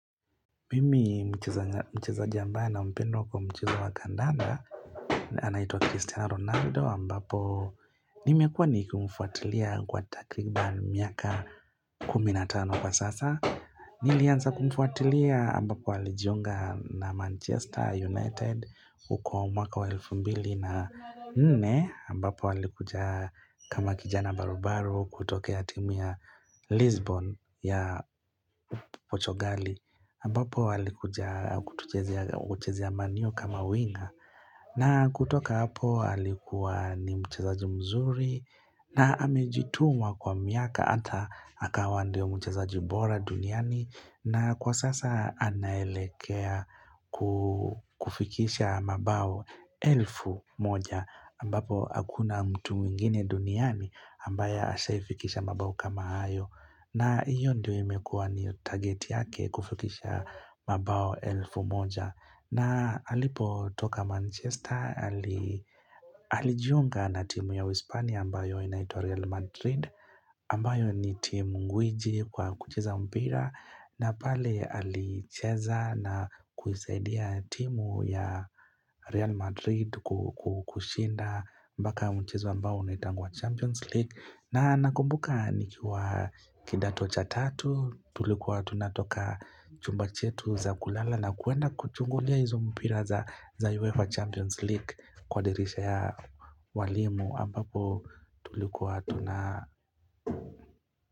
Mimi mchezaji ambaye nampenda kwa mchezo wa kadanda anaitwa Cristiano Ronaldo ambapo nimekuwa nikumfuatilia kwa takriban miaka kumi na tano kwa sasa Nilianza kumfuatilia ambapo alijiunga na Manchester United huko mwaka wa elfu mbili na nne ambapo alikuja kama kijana barubaru kutokea timu ya Lisbon ya Portugal ambapo alikuja kuchezea Man U kama winga na kutoka hapo alikuwa ni mchezaji mzuri na amejituma kwa miaka hata akawa ndio mchezaji bora duniani na kwa sasa anaelekea kufikisha mabao elfu moja ambapo hakuna mtu mwingine duniani ambaye ashaifikisha mabao kama hayo na hiyo ndio imekuwa ni target yake kufikisha mabao elfu moja na alipotoka Manchester alijiunga na timu ya Hispania ambayo inaitwa Real Madrid ambayo ni timu ngwiji kwa kucheza mpira na pale alicheza na kusaidia timu ya Real Madrid kushinda mpaka mchezo ambao unaitangwa Champions League na nakumbuka nikiwa kidato cha tatu tulikuwa tunatoka chumba chetu za kulala na kuenda kuchungulia hizo mpira za UEFA Champions League kwa dirisha ya walimu ambapo tulikuwa tuna.